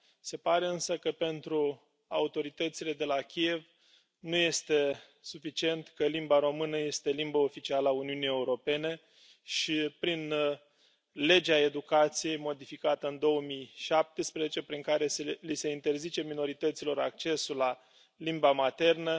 Se pare însă că, pentru autoritățile de la Kiev, nu este suficient că limba română este limbă oficială a Uniunii Europene și, prin legea educației modificată în 2017, prin care li se interzice minorităților accesul la limba maternă,